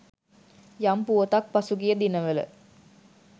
යම් පුවතක් පසුගිය දිනවල